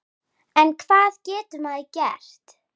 En hvað getur maður gert?